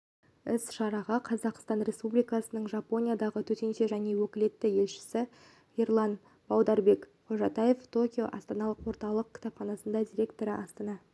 іс-шараға қазақстан республикасының жапониядағы төтенше және өкілетті елшісі ерлан баударбек-қожатаев токио астаналық орталық кітапханасы директоры астана